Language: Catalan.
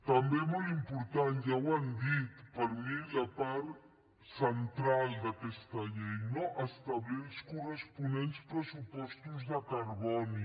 també molt important ja ho han dit per mi la part central d’aquesta llei establir els corresponents pressupostos de carboni